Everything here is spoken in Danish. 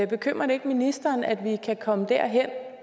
bekymrer det ikke ministeren at vi kan komme derhen